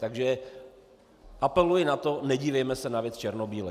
Takže apeluji na to, nedívejme se na věc černobíle.